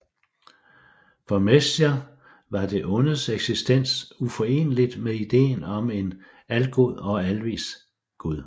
For Meslier var det ondes eksistens uforeneligt med ideen om en algod og alvis gud